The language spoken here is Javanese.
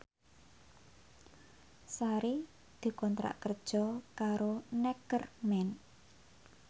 Sari dikontrak kerja karo Neckerman